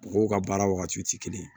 Mɔgɔw ka baara wagatiw tɛ kelen ye